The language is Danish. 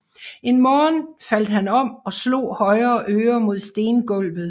En morgen faldt han om og slog højre øre mod stengulvet